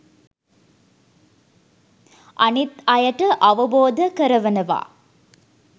අනිත් අයට අවබෝධ කරවනවා.